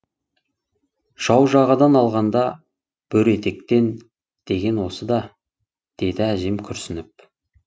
жау жағадан алғанда бөрі етектен деген осы да деді әжем күрсініп